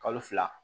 Kalo fila